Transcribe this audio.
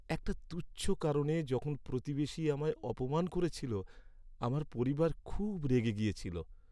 একটা তুচ্ছ কারণে যখন প্রতিবেশী আমায় অপমান করেছিল আমার পরিবার খুব রেগে গিয়েছিল!